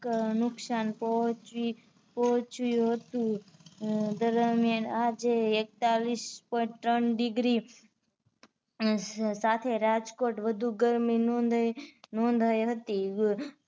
નુકસાન પહોચી પોહ્ચ્યું હતું દરમિયાન આજે એક્તાલીશ point ત્રણ degree સાથે રાજકોટ વધુ ગરમી નોંધાઇ નોંધાઇ હતી